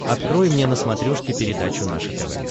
открой мне на смотрешке передачу наше тв